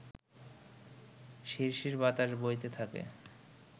শিরশির বাতাস বইতে থাকে